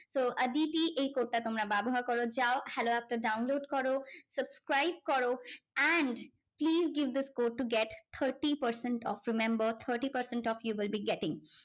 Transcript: তো Aditi এই code টা তোমরা ব্যবহার করো যাও hello app টা download করো subscribe করো and please give this code to get thirty percent off remember thirty percent off you will be getting